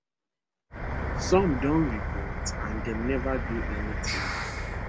some don report and dem neva do any tin